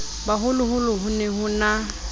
boholoholo ho ne ho na